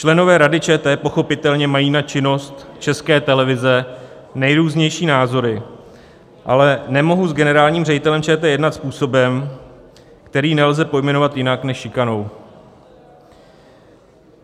Členové Rady ČT pochopitelně mají na činnost České televize nejrůznější názory, ale nemohou s generálním ředitelem ČT jednat způsobem, který nelze pojmenovat jinak než šikanou.